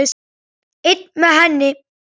Einn með henni.